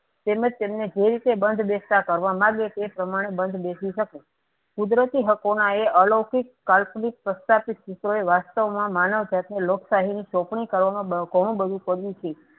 તેમજ તેમને બંધ બેસતા કરવા માંગે છે પ્રમાણે બંધ બેસી શકે કુદરતી હકો ના એ અલૌકિત કાલ્પિત પ્રસ્તાપિક સૂત્રો વાસ્તવ માં માનવ જાત ને લોકશાહી ની ચોપનણી કરવામાં ઘણું બધું કર્યું છે